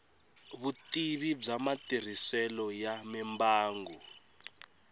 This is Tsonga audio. vutivi bya matirhiselo ya mimbangu